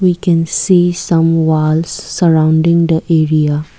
we can see some walls surrounding the area.